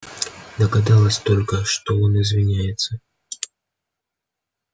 догадалась только что он извиняется